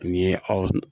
N ye aw